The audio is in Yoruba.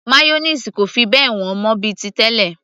mayonnaise kò fi bẹ́ẹ̀ wọ́n mọ́ bíi ti tẹlẹ